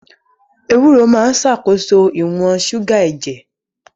Ewúro máa ń ṣàkóso ìwọ̀n ṣúgà ẹ̀jẹ̀.